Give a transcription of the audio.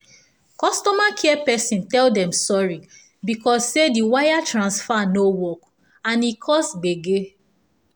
customer care person tell dem sorry because say the wire transfer no work and e cause gbege